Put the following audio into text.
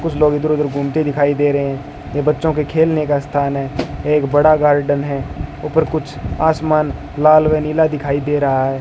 कुछ लोग इधर उधर घूमते दिखाई दे रहे है ये बच्चों के खेलने का स्थान है एक बड़ा गार्डन है ऊपर कुछ आसमान लाल व नीला दिखाई दे रहा है।